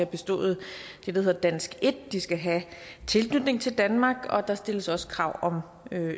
bestået det der hedder dansk en de skal have tilknytning til danmark og der stilles også krav om